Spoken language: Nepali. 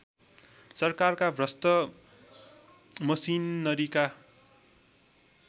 सरकारका भ्रष्ट मसिनरीका